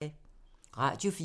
Radio 4